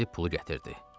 Gedib pulu gətirdi.